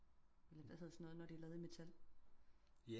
Hvad hedder sådan noget når det er laver i metal